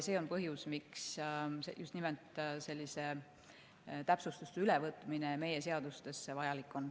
See on põhjus, miks just nimelt selliste täpsustuste ülevõtmine meie seadustesse vajalik on.